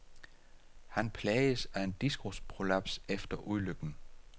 Han plages af en diskusprolaps efter ulykken.